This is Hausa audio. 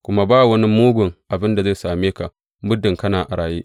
Kuma ba wani mugun abin da zai same ka muddin kana a raye.